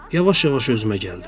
Yavaş-yavaş özümə gəldim.